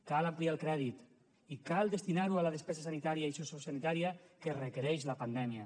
cal ampliar el crèdit i cal destinar ho a la despesa sanitària i sociosanitària que requereix la pandèmia